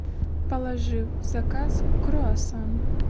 положи в заказ круассан